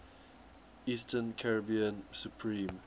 eastern caribbean supreme